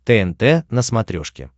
тнт на смотрешке